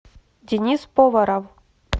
денис поваров